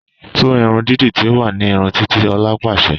“Tú irun dídi tí ó wà ní ìrun Titi” Òla pàsẹ”